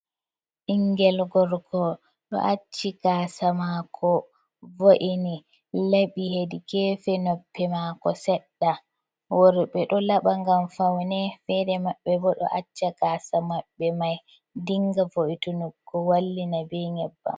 Bingel gorko ɗo acci gasa mako, vo’ini laɓi hedi gefe noppi mako sedɗa, worɓe ɗo laɓa ngam faune fere mabɓe bo ɗo acca gasa maɓɓe mai dinga vo’itunugo wallina be nyebbam.